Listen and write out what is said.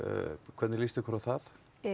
hvernig lýst ykkur á það